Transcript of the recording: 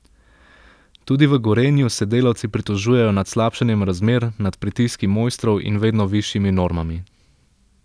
Tudi v Gorenju se delavci pritožujejo nad slabšanjem razmer, nad pritiski mojstrov in vedno višjimi normami.